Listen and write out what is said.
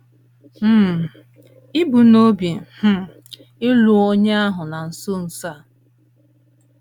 um Ì bu n’obi um ịlụ onye ahụ na nso nso um a?